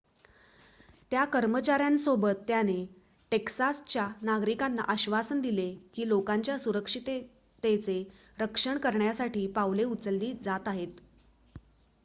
त्या कर्मचाऱ्यांसोबत त्याने टेक्सासच्या नागरिकांना आश्वासन दिले की लोकांच्या सुरक्षिततेचे रक्षण करण्यासाठी पावले उचलली जात आहेत